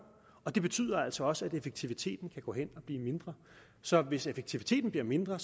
og det betyder altså også at effektiviteten kan gå hen og blive mindre så hvis effektiviteten bliver mindre